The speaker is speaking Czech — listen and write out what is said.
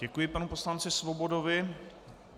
Děkuji panu poslanci Svobodovi.